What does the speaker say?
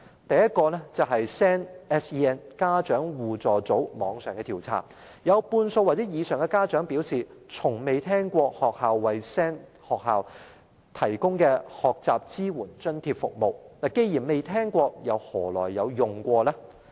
第一 ，SEN 家長互助組的網上調查顯示，有半數或以上家長表示，從未聽過學校為 SEN 學生提供的學習支援津貼服務，既然從未聽聞，試問又何曾使用呢？